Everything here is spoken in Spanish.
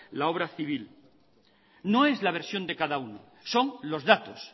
la obra civil no es la versión de cada uno son los datos